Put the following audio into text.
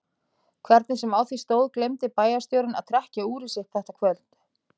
Hvernig sem á því stóð gleymdi bæjarstjórinn að trekkja úrið sitt þetta kvöld.